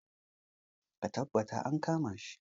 Ka taɓattar an kama shi